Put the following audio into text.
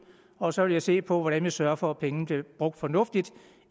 og så vil jeg se på hvordan vi sørger for at pengene bliver brugt fornuftigt og